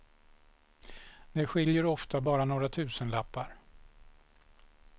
Det skiljer oftast bara några tusenlappar.